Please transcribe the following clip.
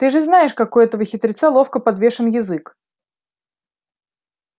ты же знаешь как у этого хитреца ловко подвешен язык